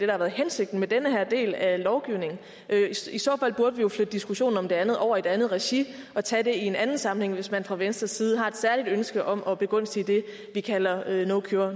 har været hensigten med den her del af lovgivningen i så fald burde vi jo flytte diskussionen om det andet over i et andet regi og tage det i en anden sammenhæng hvis man fra venstres side har et særligt ønske om at begunstige det vi kalder